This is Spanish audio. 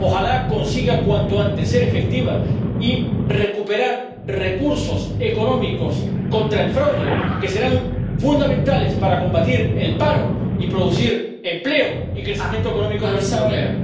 Ojalá consiga cuanto antes ser efectiva y recuperar recursos económicos contra el fraude, que serán fundamentales para combatir el paro y producir empleo y crecimiento económico en la Unión Europea.